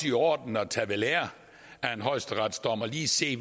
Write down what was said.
i orden at tage ved lære af en højesteretsdom og lige se